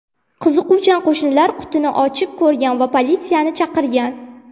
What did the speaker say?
Qiziquvchan qo‘shnilar qutini ochib ko‘rgan va politsiyani chaqirgan.